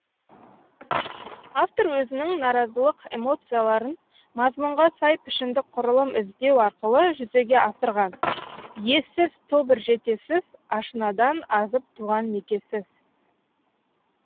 автор өзінің наразылық эмоцияларын мазмұнға сай пішіндік құрылым іздеу арқылы жүзеге асырған ессіз тобыр жетесіз ашынадан азып туған некесіз